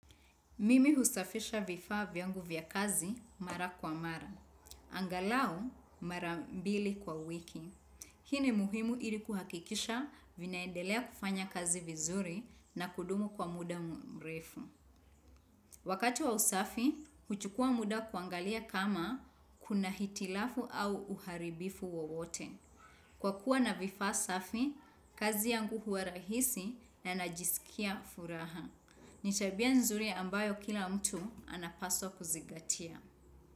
Mimi husafisha vifaa vyangu vya kazi mara kwa mara. Angalau mara mbili kwa wiki. Hii ni muhimu ili kuhakikisha vinaendelea kufanya kazi vizuri na kudumu kwa muda mrefu. Wakati wa usafi, huchukua muda kuangalia kama kuna hitilafu au uharibifu wowote. Kwa kuwa na vifaa safi, kazi yangu hua rahisi na najisikia furaha. Ni tabia nzuri ambayo kila mtu anapaswa kuzigatia.